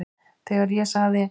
Þegar ég sagði